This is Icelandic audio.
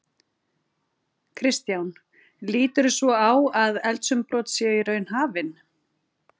Kristján: Líturðu svo á að eldsumbrot séu í raun hafin?